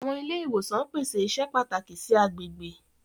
Awọn ile-iwosan pese iṣẹ pataki si agbegbe.